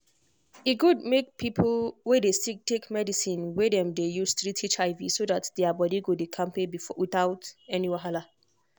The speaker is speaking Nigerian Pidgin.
e good make people wey dey sick take medicine wey dem dey use treat hiv so that their body go dey kampe without any wahala.